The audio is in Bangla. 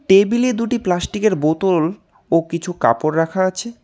টেবিলে দুটি প্লাস্টিক -এর বোতল ও কিছু কাপড় রাখা আছে।